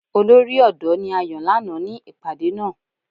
Olori odo ni a yan lana ni ipade naa.